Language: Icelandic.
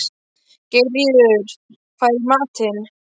Geirríður, hvað er í matinn?